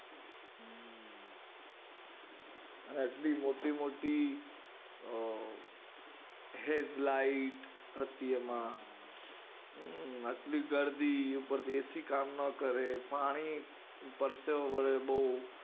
આટલી મોટી મોટી headlight હતી એમાં આટલી ગર્દી ઉપર થી એ સી કામ ના કરે પાણી પરસેવો વળે એમાં